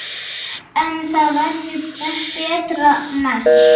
En það verður betra næst.